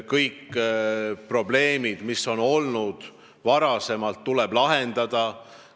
Kõik probleemid, mis varem on tekkinud, tuleb lahendada.